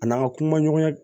A n'an ka kuma ɲɔgɔnya